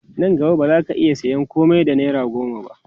Nan gaba ba zaka iya sayan komai da naira goma ba